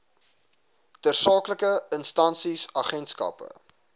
tersaaklike instansies agentskappe